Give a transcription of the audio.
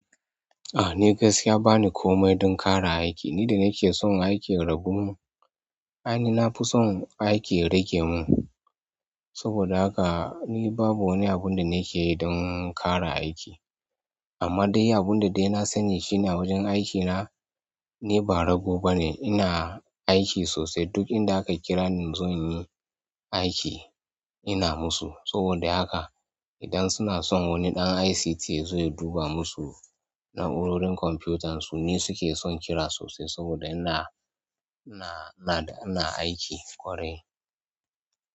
A, ni gaskiya bani komai don ƙara aiki. Ni da nake son aiki ya ragu mun. Ai, ni na fi son aiki ya rage mun, saboda haka ni babu wani abun da nake yi don ƙara aiki. Amma dai abun da dai na sani shine a wajen aikina, ni ba rago ba ne. Ina aiki sosai. Duk inda aka kira ni in zo in yi aiki, ina musu. Saboda haka idan suna son wani ɗan ICT ya zo ya duba musu na'urorin kwamfuyutarsu, ni suke son kira sosai saboda ina, ina, na da ina aiki ƙwarai.